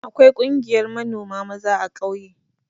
Akwai ƙungiyar manoma maza a ƙauye.